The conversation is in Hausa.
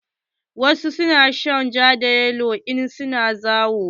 Wasu na shan ja da yalo in su na zawo.